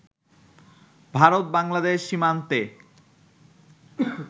ভারত-বাংলাদেশ সীমান্তে